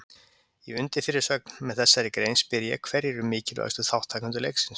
Í undirfyrirsögn með þessari grein spyr ég hverjir eru mikilvægustu þátttakendur leiksins?